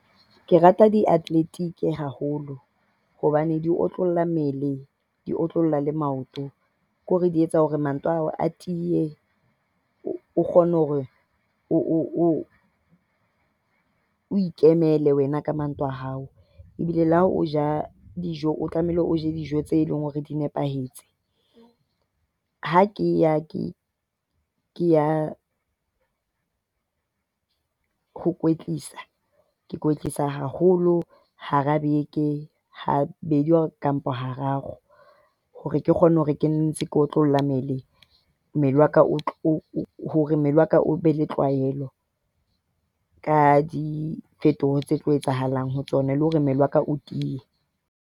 Ke rata di-athletic haholo hobane di otlolla mmele, di otlolla le maoto. Ke hore di etsa hore maoto a hao a tiye, o kgone hore o o ikemele wena ka maoto a hao. Ebile le ha o ja dijo, o tlamehile o je dijo tse e leng hore di nepahetse. Ha ke ke ya ho kwetlisa ke kwetlisa haholo hara beke habedi kampo hararo. Hore ke kgone hore ke ntse ke otlolla mmele, mmele wa ka hore mmele wa ka o be le tlwaelo ka diphethoho tse tlo etsahalang ho tsona, le hore mmele wa ka o tiye.